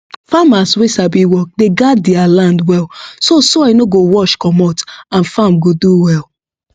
farmers wey sabi work dey guard dea land well so soil no go wash comot and farm go do well